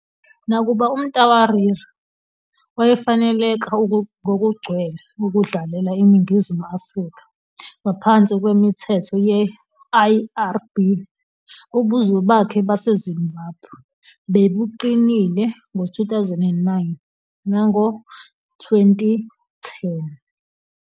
Nakuba uMtawarira wayefaneleka ngokugcwele ukudlalela iNingizimu Afrika ngaphansi kwemithetho ye-IRB, ubuzwe bakhe baseZimbabwe bebuqinile ngo-2009 nango-2010.